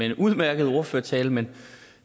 en udmærket ordførertale men